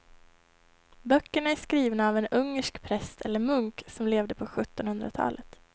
Böckerna är skrivna av en ungersk präst eller munk som levde på sjuttonhundratalet.